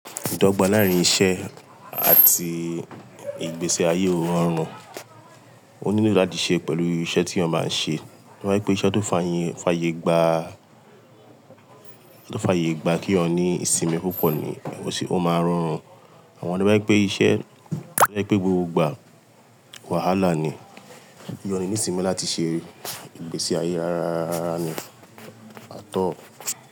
Ìdọ́gba láàárín iṣẹ́ àti ìgbésí ayé ó rọrùn, ó nílò láti ṣe pẹ̀lú iṣẹ́ teeyan báa ń ṣe. Wọ́n wípé iṣẹ́ tó fàyè gbà, tó fàyè gbà keeyan ní ìsinmi púpọ̀ ni ó máa ń rọrùn. Àwọn ni wọ́n wípé iṣẹ́, wọ́n wípé gbogbo ìgbà wàhálà ni. Iye ọ̀ le nì ìsinmi láti ṣe ìgbésí ayé rááárárá ni, à tọ́